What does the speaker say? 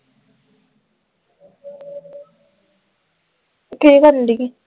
ਕੀ ਕਰਨ ਡਈ ਸੀ